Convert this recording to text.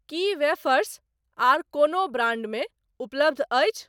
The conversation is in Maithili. की वेफर्स आर कोनो ब्रांडमे उपलब्ध अछि?